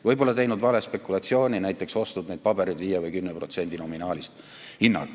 Võib-olla on teinud vale spekulatsiooni, näiteks ostnud neid pabereid hinnaga 5 või 10% nominaalist.